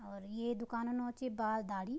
और ये दुकानु नौ च बाल दाडी।